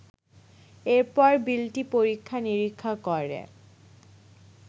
এরপর বিলটি পরীক্ষা নিরীক্ষা করে